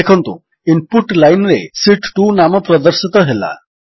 ଦେଖନ୍ତୁ ଇନପୁଟ lineରେ ଶୀତ୍ 2 ନାମ ପ୍ରଦର୍ଶିତ ହେଲା